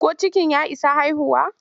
Ko cikin ya isa haihuwa?